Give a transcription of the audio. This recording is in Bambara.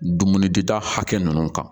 Dumuni dita hakɛ nunnu kan